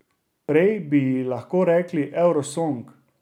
Prej bi ji lahko rekli Eurosong.